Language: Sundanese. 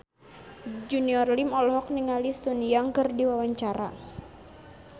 Junior Liem olohok ningali Sun Yang keur diwawancara